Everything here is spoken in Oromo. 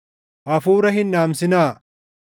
Hafuura hin dhaamsinaa;